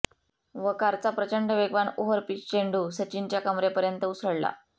वकारचा प्रचंड वेगवान ओव्हरपिच चेंडू सचिनच्या कमरेपर्यंत उसळला